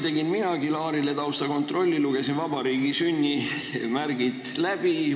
Tegin minagi Laarile taustakontrolli, lugesin "Vabariigi sünnimärgid" läbi.